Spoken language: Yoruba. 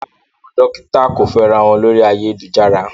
Rárá, àwọn dókítà kò fẹ́ra wọn lórí ayélujára.